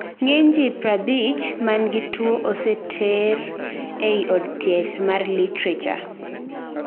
ng'eny jii 50 mangi tuo oseteri ei od thieth mar literature